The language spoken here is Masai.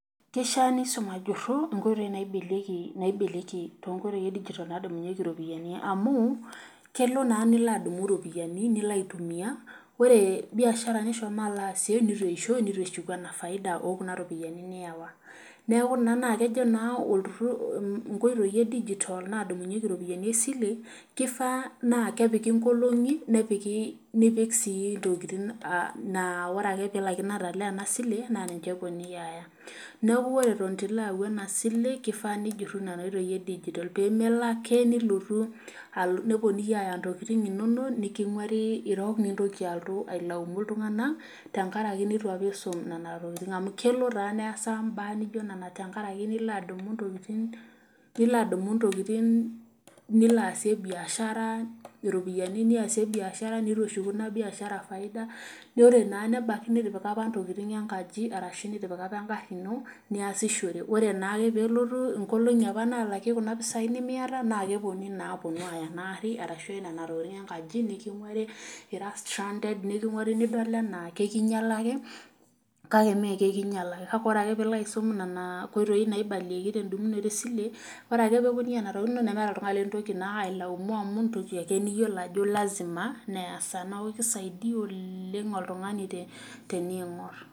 Keishaa nisum ajuru tonkoitoi edigital naibalieki iropiyiani amu kelo naa nilo adumu ropiyiani nilo aitumiyia ore biashara nishomo alo aasie neitu eshuku ena faida ookuna ropiyiani niiwa. neeku kejo naa nkoitoi edigita naadumnyieki iropiyiani esile ,keifaa naa kepiki nkolongi, nipik sii ntokiting naa ore ake pee ilaikino ataalaa ena sile, naa niche eponunui aaya. naaku ore eton eitu ilo ayau ena sile keifaa nijuru nena oitoi edigital ,ppemelo ake neponunui aaya ntokiting inonok nikingwari irok nintoki alotu ailaumu iltunganak tenkaraki apa neitu isum Nena tokiting amu kelo taadi neesa mbaa naijo nena tenkaraki nilo adumu ntokiting nilo aasie biashara neitu eshuku ina biashara faida ,naa ore naa apa nebaiki nitipika ntokiting enkaji ashu nitipika apa engari ino niasishore ,ore na ake pee eponu nkolongi naalaki kuna pisai nimiyata naa keponunui naa aponu aaya ena gari ashu nena tokiting enkaji nikingwari ira strunded nidol ana ekinyala ake ,kake mee ekinyala kake ore pee ilo aisuma nena koitoi naibalieki tendumunoto esile ,ore ake pee eponunui aaya nena tokiting inonok nemeeta naa oltungani lintoki ailaumu amu entoki ake niyiolo ajo lasima nees ena neeku keisaidia oleng oltungani teningor.